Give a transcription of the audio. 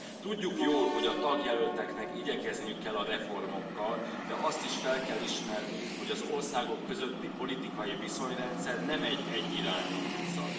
Tudjuk jól, hogy a tagjelölteknek igyekezniük kell a reformokkal, de azt is fel kell ismernünk, hogy az országok közötti politikai viszonyrendszer nem egy egyirányú utca.